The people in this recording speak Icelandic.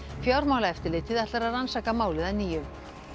fjármálaeftirlitið ætlar að rannsaka málið að nýju